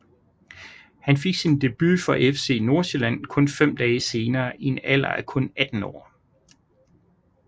Han fik sin debut for FC Nordsjælland kun fem dage senere i en alder af kun 18 år